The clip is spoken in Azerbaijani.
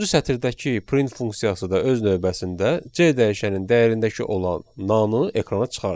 Doqquzuncu səthdəki print funksiyası da öz növbəsində C dəyişənin dəyərindəki olan nanı ekrana çıxardır.